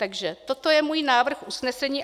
Takže toto je můj návrh usnesení.